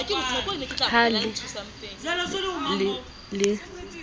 ha le ne le le